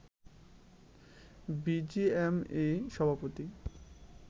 BGMEA সভাপতি